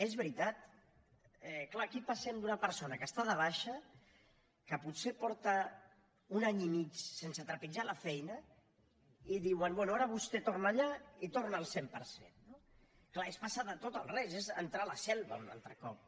és veritat clar aquí passem d’una persona que està de baixa que potser fa un any i mig que no trepitja la feina i diuen bé ara vostè torna allà i torna al cent per cent no clar és passar del tot al res és entrar a la selva un altre cop